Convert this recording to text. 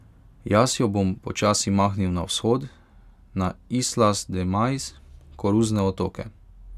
Jaz jo bom počasi mahnil na vzhod, na Islas de maiz, Koruzne otoke.